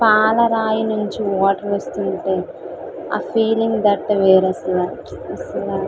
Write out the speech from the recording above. పాల రాయి నుంచి వాటర్ వస్తునది అ ఫీలింగ్ తట్ వేరు లెవెల్ అసలు.